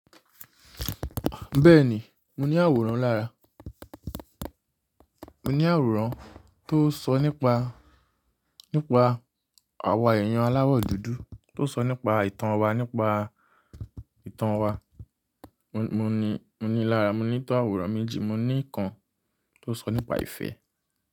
Bẹ́ẹ̀ni, mo ní àwòrán lára. Mo ní àwòrán tó sọ nípa, nípa àwa èèyàn aláwọ̀ dúdú, tó sọ nípa ìtàn wa nípa ìtàn wa. Mo ní, mo ní lára, mo ní tó àwòrán méjì, mo ní kan tó sọ nípa ìfẹ́.